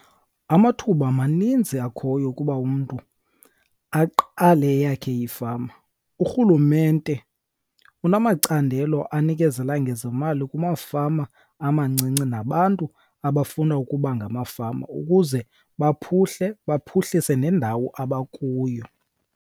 Amathuba maninzi akhoyo ukuba umntu aqale eyakhe ifama. Urhulumente unamacandelo anikezela ngezimali kumafama amancinci nabantu abafuna ukuba ngamafama ukuze baphuhle baphuhlise nendawo abakuyo.